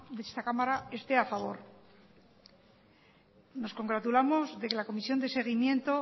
de esta cámara esté a favor nos congratulamos de que la comisión de seguimiento